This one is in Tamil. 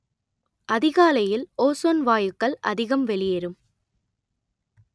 அதிகாலையில் ஓஸோன் வாயுக்கள் அதிகம் வெளியேறும்